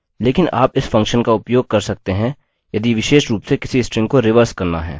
लेकिन आप इस फंक्शन का उपयोग कर सकते हैं यदि विशेष रूप से किसी स्ट्रिंग को रिवर्स करना है